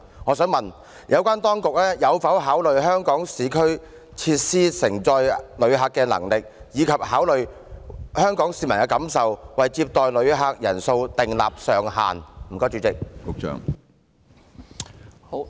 我想問有關當局有否考慮市區設施承載旅客的能力，以及香港市民的感受，從而為接待旅客人數設定上限？